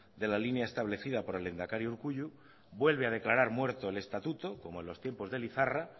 de la línea establecida por el lehendakari urkullu vuelve a declarar muerto el estatuto como en los tiempos de lizarra